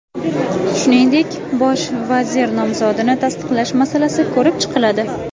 Shuningdek, bosh vazir nomzodini tasdiqlash masalasi ko‘rib chiqiladi.